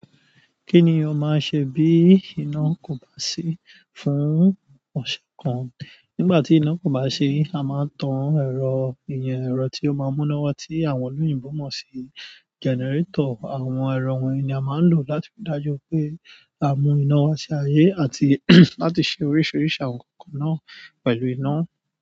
Kí ni o máa ṣe bí iná kò bá sí fún ọ̀ṣẹ̀ kan? Nígbà tí iná kò bá sí, a máa tan ẹ̀rọ ìmọ̀ ẹ̀rọ tí ó máa mú iná wá tí àwọn olóyìnbo mọ̀ sí generator. Àwọn ẹ̀rọ wọ̀nyí ni a máa ń lò láti ri dájú pé a mú iná wá sí ayé àti láti ṣe oríṣiríṣi àwọn nǹkan náà pẹ̀lú iná.